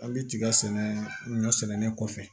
An bɛ tiga sɛnɛ ɲɔ sɛnɛnen kɔfɛ